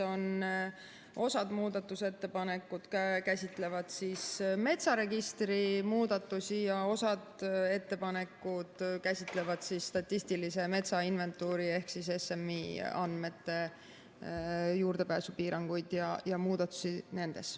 Osa muudatusettepanekuid käsitlevad metsaregistri muudatusi ja osa ettepanekuid käsitlevad statistilise metsainventuuri ehk SMI andmete juurdepääsupiiranguid ja muudatusi nendes.